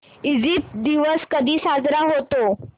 Egypt दिवस कधी साजरा होतो